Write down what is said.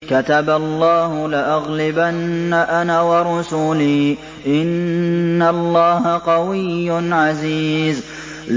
كَتَبَ اللَّهُ لَأَغْلِبَنَّ أَنَا وَرُسُلِي ۚ إِنَّ اللَّهَ قَوِيٌّ عَزِيزٌ